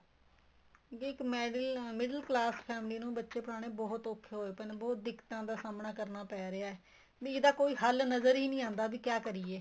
ਵੀ ਇੱਕ middle class family ਨੂੰ ਬੱਚੇ ਪੜਾਉਣੇ ਬਹੁਤ ਔਖੋ ਹੋਏ ਪਏ ਹੈ ਬਹੁਤ ਦਿੱਕਤਾਂ ਦਾ ਸਾਹਮਣਾ ਕਰਨਾ ਪੈ ਰਿਹਾ ਹੈ ਵੀ ਇਹਦਾ ਕੋਈ ਹੱਲ ਨਜ਼ਰ ਹੀ ਨਹੀਂ ਆਉਦਾ ਵੀ ਕਿਆ ਕਰੀਏ